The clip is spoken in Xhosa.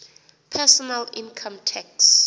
personal income tax